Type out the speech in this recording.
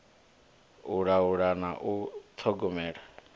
u laula na u ṱhogomela